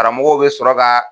Karamɔgɔw bɛ sɔrɔ ka